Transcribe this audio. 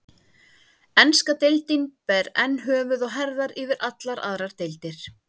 Enska deildin ber enn höfuð og herðar yfir allar aðrar deildir.